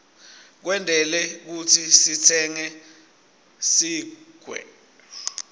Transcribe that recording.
tentelwe kutsi sititsenge sigwke